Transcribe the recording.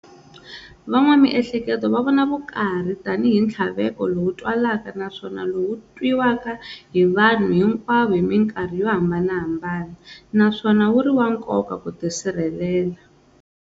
Van'wa mihleketo va vona vukarhi tani hi nthlaveko lowu twalaka naswona lowu twiwaka hi vanhu hinkwavo hi minkarhi yo hambanahambana, naswona wuri wa nkoka ku tisirhelela.